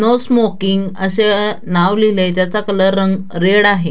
No smoking अस अ नाव लिहिलंय त्याचा कलर रं रेड आहे.